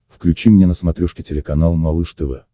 включи мне на смотрешке телеканал малыш тв